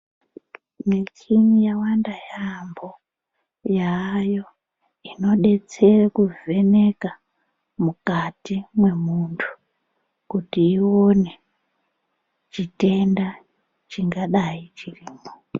Michini yawanda yaamho yaayo inodetsere kuvheneka mukati memwundu kuti ione chitenda chingadai chirimwo.